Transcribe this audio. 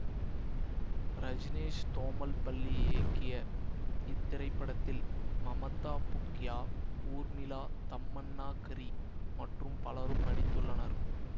ரஜ்னேஷ் தோமல்பள்ளி இயக்கிய இத்திரைப்படத்தில் மமதா புக்யா ஊர்மிலா தம்மண்ணாகரி மற்றும் பலரும் நடித்துள்ளனர்